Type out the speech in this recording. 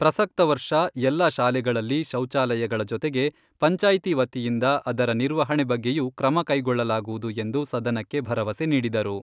ಪ್ರಸಕ್ತ ವರ್ಷ ಎಲ್ಲ ಶಾಲೆಗಳಲ್ಲಿ ಶೌಚಾಲಯಗಳ ಜೊತೆಗೆ ಪಂಚಾಯ್ತಿ ವತಿಯಿಂದ ಅದರ ನಿರ್ವಹಣೆ ಬಗ್ಗೆಯೂ ಕ್ರಮ ಕೈಗೊಳ್ಳಲಾಗುವುದು ಎಂದು ಸದನಕ್ಕೆ ಭರವಸೆ ನೀಡಿದರು.